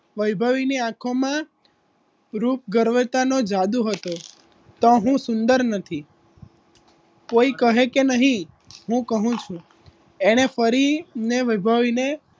વૈભવી ની આખોમા રૂપ ગર્વતાનો જાદુ હતો તો તો હું સુંદર નથી કોઈ કહે કે નહીં હું કહું છું એણે ફરીને વૈભવીને